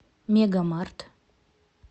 мегамарт